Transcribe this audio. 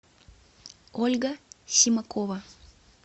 ольга симакова